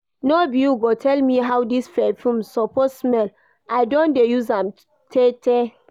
No be you go tell me how this perfume suppose smell, I don dey use am tay tay